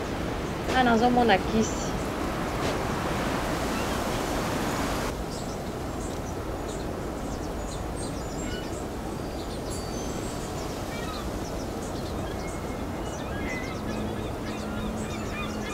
Awa nazo Mona kisi.